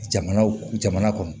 Jamanaw jamana kɔnɔ